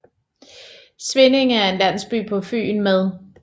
Svindinge er en landsby på Fyn med